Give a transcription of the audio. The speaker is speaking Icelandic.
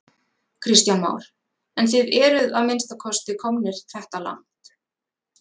Kristján Már: En þið eruð að minnsta kosti komnir þetta langt?